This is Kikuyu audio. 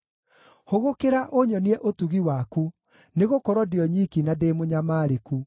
Hũgũkĩra, ũnyonie ũtugi waku, nĩgũkorwo ndĩ o nyiki na ndĩ mũnyamarĩku.